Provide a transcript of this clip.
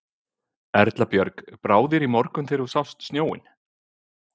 Erla Björg: Brá þér í morgun þegar þú sást snjóinn?